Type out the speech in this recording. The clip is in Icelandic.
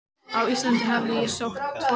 Á Íslandi hafði ég sótt tvo fundi.